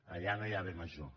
allà no hi ha bé major